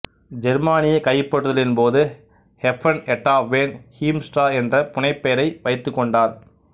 ஜெர்மானிய கைப்பற்றுதலின் போது ஹெப்பர்ன் எட்டா வேன் ஹீம்ஸ்டிரா என்ற புனைப்பெயரை வைத்துக்கொண்டார்